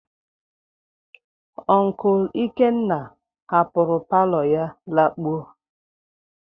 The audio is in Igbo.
Onkul Ikenna hapụrụ palo ya lakpuo.